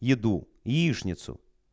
еду яичницу